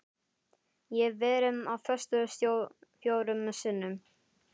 Ég hef verið á föstu fjórum sinnum.